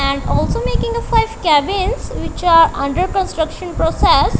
and also making a five cabins which are under construction process.